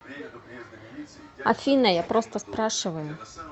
афина я просто спрашиваю